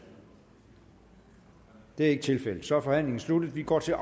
det er ikke tilfældet så er forhandlingen sluttet vi går til